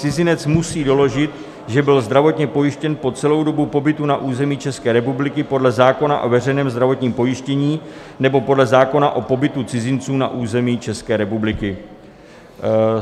Cizinec musí doložit, že byl zdravotně pojištěn po celou dobu pobytu na území České republiky podle zákona o veřejném zdravotním pojištění nebo podle zákona o pobytu cizinců na území České republiky."